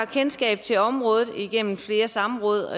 kendskab til området igennem flere samråd